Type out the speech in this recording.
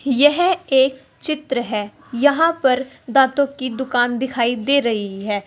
यह एक चित्र है यहां पर दातों की दुकान दिखाई दे रही है।